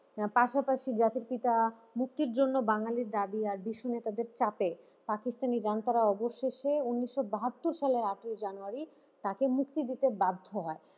পাশাপাশি জাতির পিতা মুক্তির জন্য বাঙালির দাবি আর বিশ্ব নেতাদের চাপে পাকিস্তানী জনতারা অবশেষে উনিশশো বাহাত্তর সালে আটই জানুয়ারি তাকে মুক্তি দিতে বাধ্য হয়।